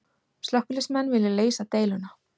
Slökkviliðsmenn vilja leysa deiluna